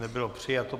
Nebylo přijato.